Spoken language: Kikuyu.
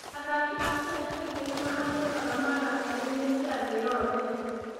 Athaki a Kenya kaingĩ nĩ mahanyũkaga marathoni-inĩ cia thĩ yothe.